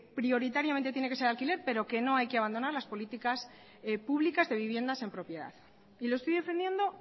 prioritariamente tiene que ser de alquiler pero que no hay que abandonar las políticas públicas de viviendas en propiedad y lo estoy defendiendo